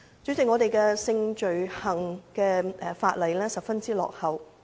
主席，香港有關性罪行的法例十分落後。